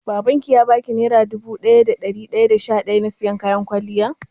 Babanki ya baki naira dubu biyu da dari daya da sha daya na siyan kayan kwalliyar?